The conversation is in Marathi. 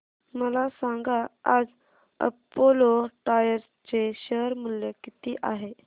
मला सांगा आज अपोलो टायर्स चे शेअर मूल्य किती आहे